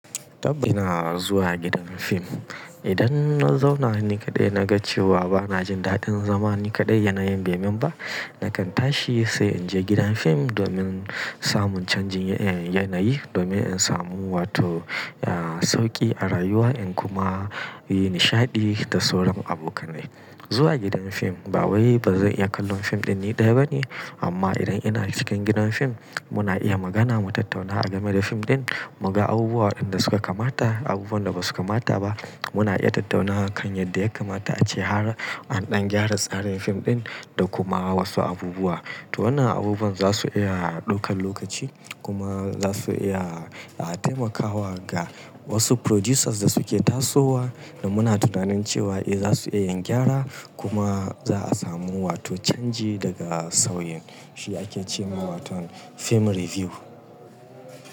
Tab! Ina zuwa gidan fim. Idan na zauna ni kaɗai na ga cewa ba na jin daɗin zama ni kaɗai yanayin bai yi mun ba, nakan tashi sai in je gidan fim domin samun canjin yanayi domin in samu wato sauƙi a rayuwa in kuma yi nishaɗi da sauran abokanai. Zuwa gidan fim ba, wai ba zan iya kallon fim ɗin ni ɗaya ba ne, amma idan ina cikin gidan fim muna iya magana, mu tattauna game da fim ɗin, muga abubuwan da suka kamata, abubuwan da ba su kamata ba. Muna iya tattaunawa kan yadda ya kamata a ce har an ɗan gyara tsarin fim ɗin da kuma wasu abubuwa. To wannan abubuwan za su iya ɗaukan lokaci kuma za su iya taimakawa ga wasu producers da suke tasowa da muna tunanin cewa eh za su iya gyara kuma za a samu wato canji daga sauyin. Shi ake ce ma wato film review.